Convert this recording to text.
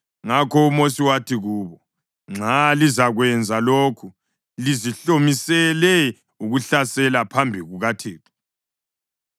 Ngakho uMosi wathi kubo, “Nxa lizakwenza lokhu, lizihlomisele ukuhlasela phambi kukaThixo,